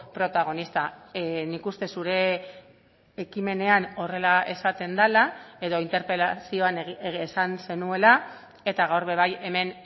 protagonista nik uste zure ekimenean horrela esaten dela edo interpelazioan esan zenuela eta gaur ere bai hemen